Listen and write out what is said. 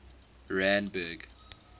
randburg